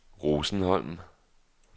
Rosenholm